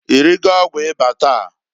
I rigo ọgwụ ịba gi taa?